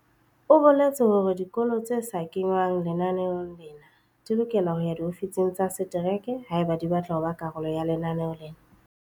O boletse hore dikolo tse sa kengwang lenaneong lena di lokela ho ya diofising tsa setereke haeba di batla ho ba karolo ya lenaneo lena.